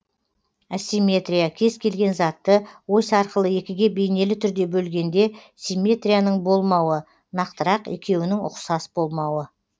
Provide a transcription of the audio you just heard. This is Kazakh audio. асимметрия кез келген затты ось арқылы екіге бейнелі түрде бөлгенде симетрияның болмауы нақтырақ екеуінің ұқсас болмауы